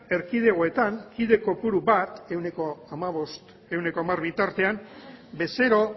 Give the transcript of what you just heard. erkidekoetan kide kopuru bat quince por ciento hamar bitartean bezero